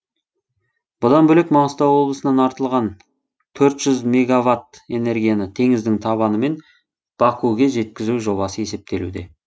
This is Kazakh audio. бұдан бөлек маңғыстау облысынан артылған төрт жүз мегаватт энергияны теңіздің табынымен бакуге жеткізу жобасы есептелуде